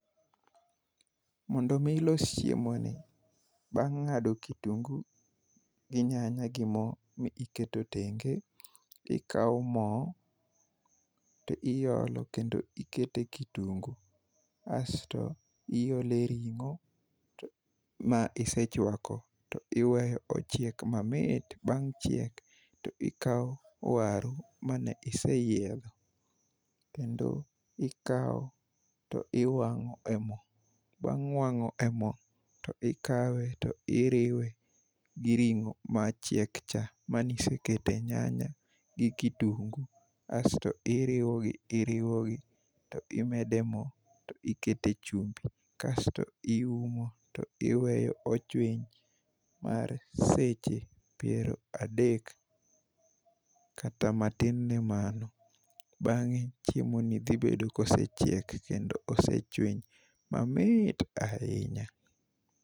Mondo omi ilos chiemoni, bang' ng'ado kitungu gi nyanya gi mo miketo tenge, ikawo mo to iolo kendo ikete kitungu asto iole ring'o ma isechwako to iweyo ochiek mamit. Bang' chiek to ikawo waru mane iseyiedho kendo ikawo to iwang'o e mo. Bang' wang'o e mo to ikawe to iriwe gi ring'o machiek cha maniseke nyanya gi kitungu asto iriwogi iriwogi to imede mo to ikete chumbi kasto iumo to iweyo ochwiny mar seche piero adek kata matin ne mano bang'e chiemoni dhibedo kosechiek kendo osechwiny mamit ahinya.